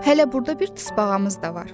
Hələ burda bir tısbağamız da var.